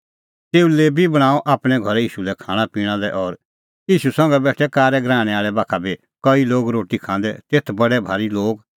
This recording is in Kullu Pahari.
तेऊ लेबी बणांअ आपणैं घरै ईशू लै खाणांपिणां लै और ईशू संघै बेठै कारै गराहणै आल़ै बाखा बी कई लोग रोटी खांदै तेथ तै बडै भारी लोग